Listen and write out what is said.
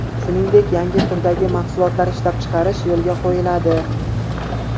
Shuningdek, yangi turdagi mahsulotlar ishlab chiqarish yo‘lga qo‘yiladi.